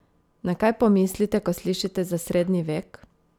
Na kaj pomislite, ko slišite za srednji vek?